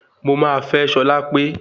Mo máa fẹ́ Ṣọlápé